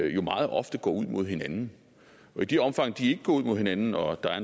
jo meget ofte går ud mod hinanden i det omfang de ikke går ud mod hinanden og der